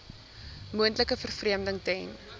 moontlike vervreemding ten